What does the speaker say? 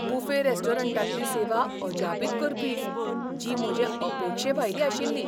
Buffet रेस्टॉरंटांतली सेवा अजापित करपी, जी म्हजे अपेक्षेभायली आशिल्ली!